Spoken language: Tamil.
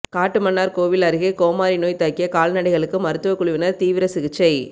காட்டுமன்னார்கோவில் அருகே கோமாரி நோய் தாக்கிய கால்நடைகளுக்கு மருத்துவ குழுவினர் தீவிர சிகிச்சை